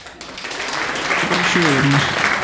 Þetta voru bara sögurnar.